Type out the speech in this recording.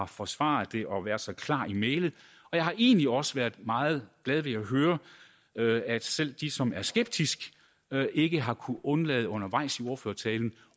forsvaret det og været så klare i mælet og jeg har egentlig også været meget glad ved at høre at selv de som er skeptiske ikke har kunnet undlade undervejs i ordførertalen